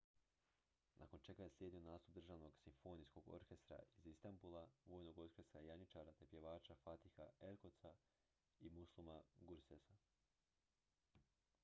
nakon čega je slijedio nastup državnog simfonijskog orkestra iz istambula vojnog orkestra janjičara te pjevača fatiha erkoça i müslüma gürsesa